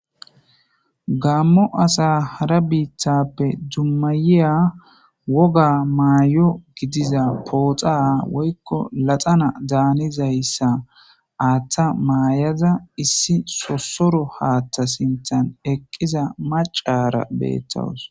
gammo asa hara biithappe dummayiya woga maayo gidiza pooxa woykko laxana daanizayssa aaththa maayaza issi sosoro haathta sinthan eqqiza macara beettowus